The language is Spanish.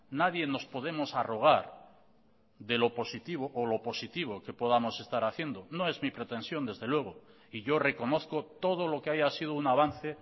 nadie nos podemos arrogar de lo positivo o lo positivo que podamos estar haciendo no es mi pretensión desde luego y yo reconozco todo lo que haya sido un avance